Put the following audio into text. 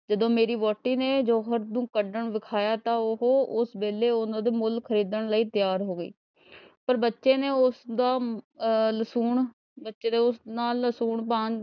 ਵਹੁਟੀ ਨੇ ਜਿਉਂ ਹੀ ਉਹ ਕੱਡਣ ਨੂੰ ਦਿਖਾਇਆ ਤਾਂ ਉਹ ਉਸ ਵੇਲੇ ਉਹਨੂੰ ਮੁੱਲ ਖਰੀਦਣ ਲਈ ਤਿਆਰ ਹੋ ਗਈ ਪਰ ਬੱਚੇ ਨੇ ਉਸਦਾ ਅਹ . ਬੱਚੇ ਦੇ ,